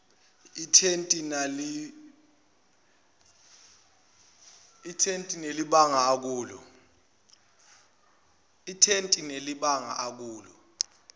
ethintene nalelibanga akulo